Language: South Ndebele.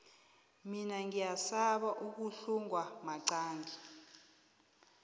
mina ngiyasaba ukuhlungwa maqangi